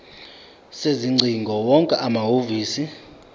sezingcingo wonke amahhovisi